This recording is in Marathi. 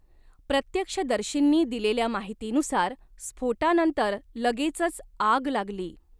प्रत्यक्षदर्शींनी दिलेल्या माहितीनुसार, स्फोटानंतर लगेचच आग लागली.